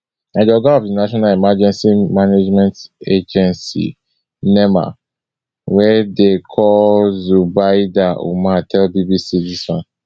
na di oga of di national emergency management agency nema wey dem dey call zubaida umar tell bbc dis one